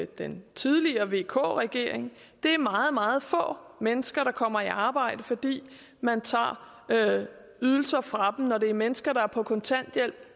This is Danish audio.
den tidligere vk regering det er meget meget få mennesker der kommer i arbejde fordi man tager ydelser fra dem når det er mennesker der er på kontanthjælp